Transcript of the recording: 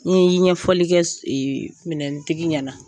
N'i ye ɲɛfɔli kɛ minɛntigi ɲɛna.